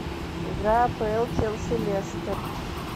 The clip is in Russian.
игра апл челси лестер